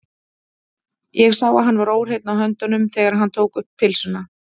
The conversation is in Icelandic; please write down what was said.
Ég sá að hann var óhreinn á höndunum, þegar hann tók um pylsuna.